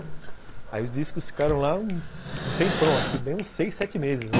Aí os discos ficaram lá um tempão, acho que bem uns seis, sete meses.